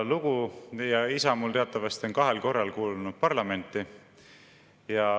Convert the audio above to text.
Isa mul teatavasti on kahel korral kuulunud parlamenti.